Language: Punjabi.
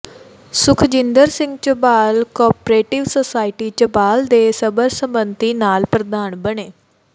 ਸੁਖਜਿੰਦਰ ਸਿੰਘ ਝਬਾਲ ਕੋਆਪ੍ਰੇਟਿਵ ਸੁਸਾਇਟੀ ਝਬਾਲ ਦੇ ਸਰਬਸੰਮਤੀ ਨਾਲ ਪ੍ਰਧਾਨ ਬਣੇ